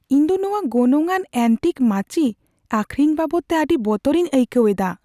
ᱤᱧ ᱫᱚ ᱱᱚᱶᱟ ᱜᱚᱱᱚᱝᱼᱟᱱ ᱮᱱᱴᱤᱠ ᱢᱟᱹᱪᱤ ᱟᱹᱠᱷᱨᱤᱧ ᱵᱟᱵᱚᱫᱛᱮ ᱟᱹᱰᱤ ᱵᱚᱛᱚᱨᱤᱧ ᱟᱹᱭᱠᱟᱹᱣ ᱮᱫᱟ ᱾